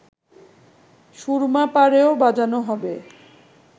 সুরমা পাড়েও বাজানো হবে